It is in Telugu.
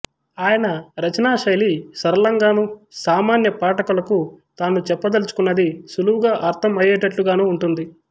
ఆయన రచనాశైలి సరళంగానూ సామాన్య పాఠకులకు తాను చెప్పదలచుకున్నది సుళువుగా అర్ధం అయ్యేటట్లుగానూ ఉంటుంది